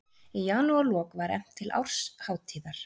Í janúarlok var efnt til árshátíðar